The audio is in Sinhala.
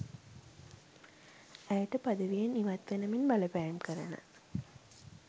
ඇයට පදවියෙන් ඉවත් වෙන මෙන් බලපෑම් කරන